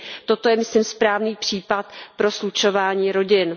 Toto je, myslím, správný případ pro slučování rodin.